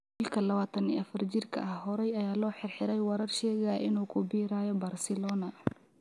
Wiilka lawatan iyo afar jirka ah horay ayaa loo xirxiray warar sheegaya in uu ku biirayo Barcelona.